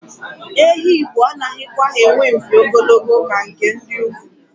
Ehi Igbo anaghịkwa enwe mpi ogologo ka nke ndị ugwu.